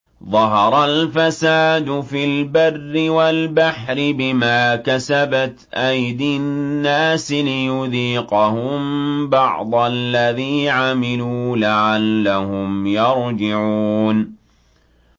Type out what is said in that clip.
ظَهَرَ الْفَسَادُ فِي الْبَرِّ وَالْبَحْرِ بِمَا كَسَبَتْ أَيْدِي النَّاسِ لِيُذِيقَهُم بَعْضَ الَّذِي عَمِلُوا لَعَلَّهُمْ يَرْجِعُونَ